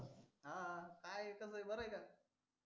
हं हं काय चालय बरं आहे का?